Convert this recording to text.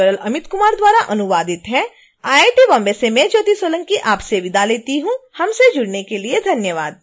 यह ट्यूटोरियल इ अमित कुमार द्वारा अनुवादित है आई आई टी बॉम्बे से मैं ज्योति सोलंकी आपसे विदा लेती हूँ हमसे जुडने के लिए धन्यवाद